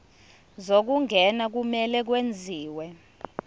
zokungena kumele kwenziwe